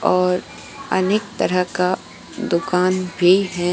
और अनेक तरह का दुकान भी है।